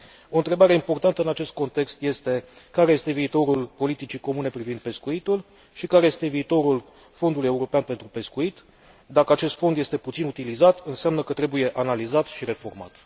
O întrebare importantă în acest context este care este viitorul politicii comune privind pescuitul și care este viitorul Fondului european pentru pescuit? Dacă acest fond este puțin utilizat înseamnă că trebuie analizat și reformat.